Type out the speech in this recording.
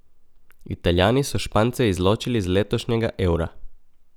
Italijani so Špance izločili z letošnjega Eura.